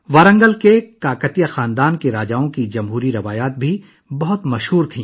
ورنگل کے کاکتیہ خاندان کے بادشاہوں کی جمہوری روایات بھی بہت مشہور تھیں